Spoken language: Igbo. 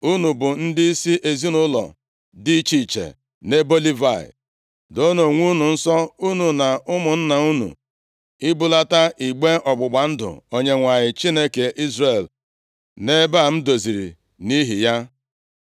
“Unu bụ ndịisi ezinaụlọ dị iche iche, nʼebo Livayị. Doonụ onwe unu nsọ unu na ụmụnna unu ibulata igbe ọgbụgba ndụ Onyenwe anyị, Chineke Izrel nʼebe a m doziri nʼihi ya.